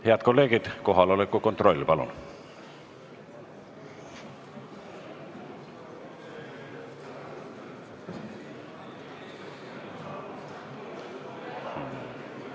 Head kolleegid, kohaoleku kontroll, palun!